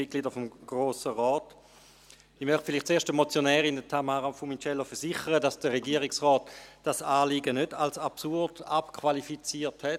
Zuerst möchte ich der Motionärin, Tamara Funiciello, versichern, dass der Regierungsrat dieses Anliegen nicht als absurd abqualifiziert hat.